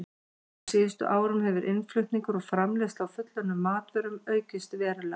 Á síðustu árum hefur innflutningur og framleiðsla á fullunnum matvörum aukist verulega.